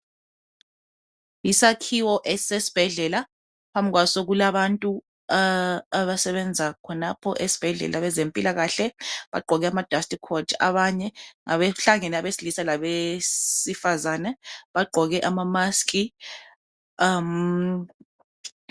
Yisakhiwo esisesibhedlela. Phambi kwaso kulabantu abasebenza khonapho esibhedlela bezempilakahle. Bagqoke amadustcoat abanye. Bahlangena abesilisa labesifazana. Bagqoke amamask.